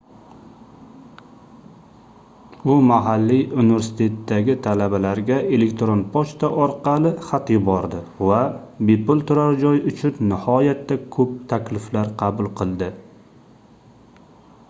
u mahalliy universitetdagi talabalarga elektron pochta orqali xat yubordi va bepul turar joy uchun nihoyatda koʻp takliflar qabul qildi